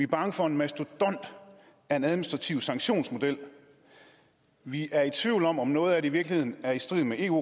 bange for en mastodont af en administrativ sanktionsmodel vi er i tvivl om om noget af det i virkeligheden er i strid med eu